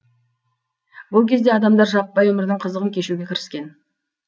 бұл кезде адамдар жаппай өмірдің қызығын кешуге кіріскен